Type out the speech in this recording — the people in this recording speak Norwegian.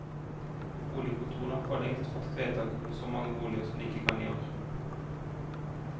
Boligkontorene har forlengst fattet vedtak om så mange boliger som de kan i år.